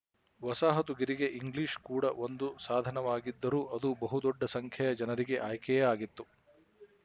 ವಸಾಹತುಗಿರಿಗೆ English ಕೂಡ ಒಂದು ಸಾಧನವಾಗಿದ್ದರೂ ಅದು ಬಹು ದೊಡ್ಡ ಸಂಖ್ಯೆಯ ಜನರಿಗೆ ಆಯ್ಕೆಯೇ ಆಗಿತ್ತು